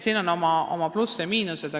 Siin on plusse ja miinuseid.